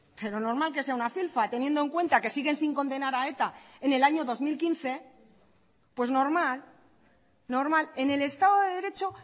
pero normal que sea una filfa teniendo en cuenta que siguen sin condenar a eta en el año dos mil quince pues normal normal en el estado de derecho